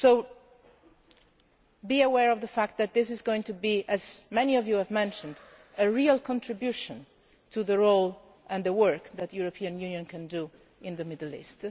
Union. So be aware of the fact that this is going to be, as many of you have mentioned, a real contribution to the role and the work that the European Union can do in the Middle